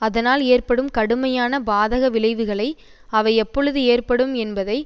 அதனால் ஏற்படும் கடுமையான பாதக விளைவுகளை அவை எப்பொழுது ஏற்படும் என்பதை